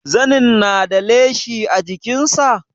Zanin na da leshi a jikin sa?